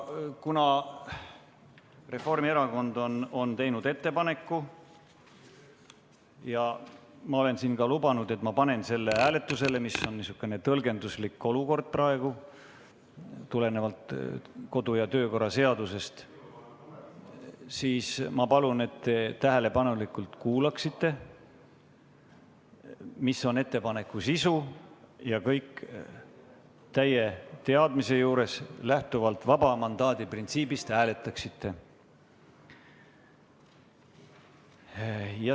Kuna Reformierakond on teinud ettepaneku ja ma olen siin lubanud, et panen selle hääletusele – kuigi see on praegu niisugune tõlgenduslik olukord, tulenevalt kodu- ja töökorra seadusest –, siis ma palun, et te tähelepanelikult kuulaksite, mis on ettepaneku sisu, ja seejärel täie teadmise juures lähtuvalt vaba mandaadi printsiibist hääletaksite.